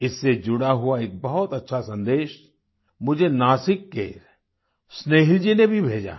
इससे जुड़ा हुआ एक बहुत अच्छा सन्देश मुझे नासिक के स्नेहिल जी ने भी भेजा है